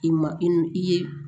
I ma i n'i i ye